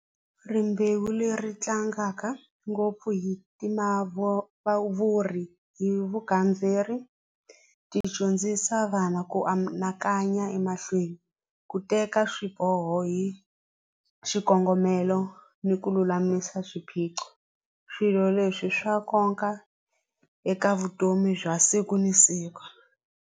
Rimbewu leri tlangaka ngopfu hi timavuri hi vugandzeri ti dyondzisa vana ku anakanya emahlweni ku teka swiboho hi xikongomelo ni ku lulamisa swiphiqo swilo leswi swa nkoka eka vutomi bya siku ni siku.